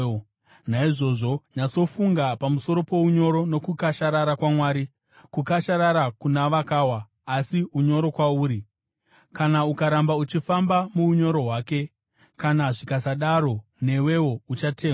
Naizvozvo nyatsofunga pamusoro pounyoro nokukasharara kwaMwari; kukasharara kuna vakawa, asi unyoro kwauri, kana ukaramba uchifamba muunyoro hwake. Kana zvikasadaro newewo uchatemwa.